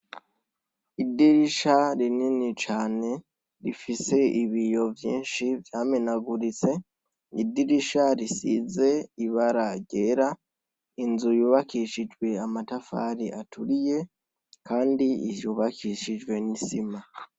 Idirisha rinini cane rifise ibiyo vyinshi vyamenaguritse, idirisha risize ibara ryera, inzu yubakishijwe amatafari aturiye kandi yubakishijwe n'isima.